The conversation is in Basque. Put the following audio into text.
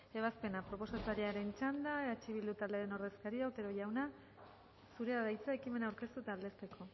ebazpena proposatzailearen txanda eh bildu taldearen ordezkaria otero jauna zurea da hitza ekimena aurkeztu eta aldezteko